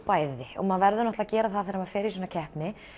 bæði og maður verður að gera það þegar maður fer í svona keppni